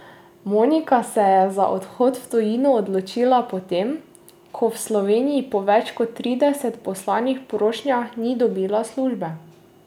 Monika se je za odhod v tujino odločila po tem, ko v Sloveniji po več kot trideset poslanih prošnjah ni dobila službe.